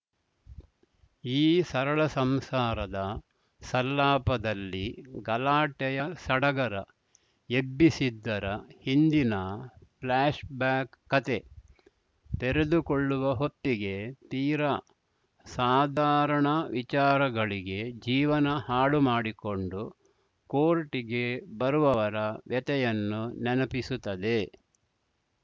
ಈ ಸರಳ ಸಂಸಾರದ ಸಲ್ಲಾಪದಲ್ಲಿ ಗಲಾಟೆಯ ಸಡಗರ ಎಬ್ಬಿಸಿದ್ದರ ಹಿಂದಿನ ಫ್ಲ್ಯಾಷ್‌ ಬ್ಯಾಕ್‌ ಕತೆ ತೆರೆದುಕೊಳ್ಳುವ ಹೊತ್ತಿಗೆ ತೀರಾ ಸಾಧಾರಣ ವಿಚಾರಗಳಿಗೆ ಜೀವನ ಹಾಳು ಮಾಡಿಕೊಂಡು ಕೋರ್ಟ್‌ಗೆ ಬರುವವರ ವ್ಯಥೆಯನ್ನು ನೆನಪಿಸುತ್ತದೆ